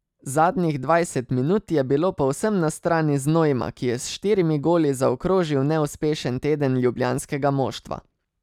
Zadnjih dvajset minut je bilo povsem na strani Znojma, ki je s štirimi goli zaokrožil neuspešen teden ljubljanskega moštva.